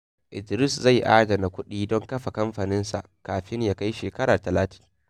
Idris zai adana kuɗi don kafa kamfaninsa kafin ya kai shekara talatin.